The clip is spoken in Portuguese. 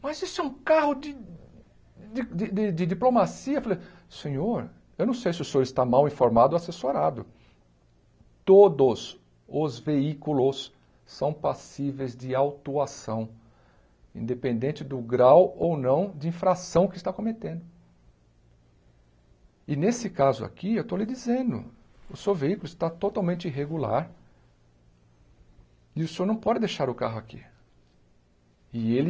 mas isso é um carro de de de de de diplomacia falei senhor eu não sei se o senhor está mal informado ou assessorado todos os veículos são passíveis de autuação independente do grau ou não de infração que está cometendo e nesse caso aqui eu estou lhe dizendo o seu veículo está totalmente irregular e o senhor não pode deixar o carro aqui e ele